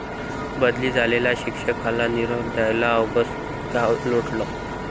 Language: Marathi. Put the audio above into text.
बदली झालेल्या शिक्षकाला निरोप द्यायला अवघं गाव लोटलं!